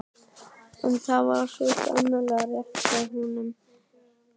En það var svo sannarlega rétt hjá honum.